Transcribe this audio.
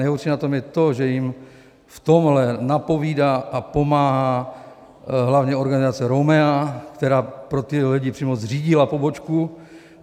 Nejhorší na tom je to, že jim v tomhle napovídá a pomáhá hlavně organizace Romea, která pro tyhle lidi přímo zřídila pobočku.